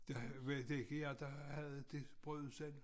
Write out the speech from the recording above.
Var det ikke jer der havde det brødudsalg